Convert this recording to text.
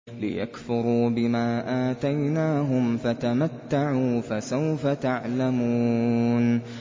لِيَكْفُرُوا بِمَا آتَيْنَاهُمْ ۚ فَتَمَتَّعُوا فَسَوْفَ تَعْلَمُونَ